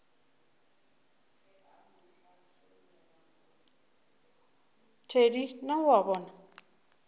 thedi na o a bona